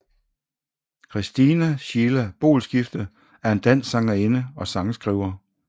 Christina Sheila Boelskifte er en dansk sangerinde og sangskriver